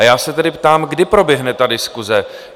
A já se tedy ptám, kdy proběhne ta diskuse?